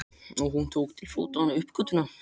Og hún tók til fótanna upp götuna.